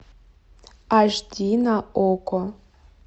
аш ди на окко